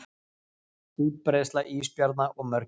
útbreiðsla ísbjarna og mörgæsa